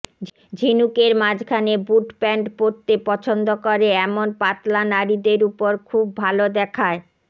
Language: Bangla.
ঝিনুকের মাঝখানে বুট প্যান্ট পরতে পছন্দ করে এমন পাতলা নারীদের উপর খুব ভাল দেখায়